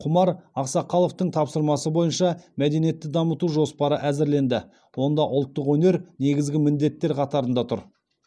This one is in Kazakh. құмар ақсақаловтың тапсырмасы бойынша мәдениетті дамыту жоспары әзірленді онда ұлттық өнер негізгі міндеттер қатарында тұр